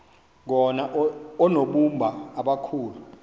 koma oonobumba abakhulu